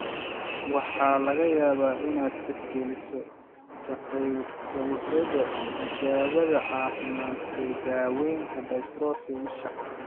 Waxaa laga yaabaa inaad tixgeliso ka qaybqaadashada tijaabada caafimaad ee daaweynta dystrophy isha.